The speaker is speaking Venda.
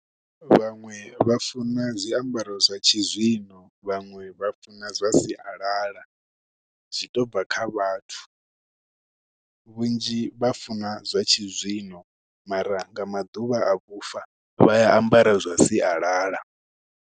Vhaṅwe vha funa zwiambaro zwa tshizwino, vhaṅwe vha funa zwa sialala, zwi to bva kha vhathu. Vhunzhi vha funa zwa tshizwino, mara nga maḓuvha a vhufa, vha a ambara zwa sialala.